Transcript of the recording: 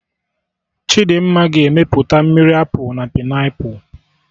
Chidimma ga-emepụta mmiri Apụl na Painiapụlụ